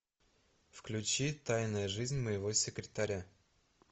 включи тайная жизнь моего секретаря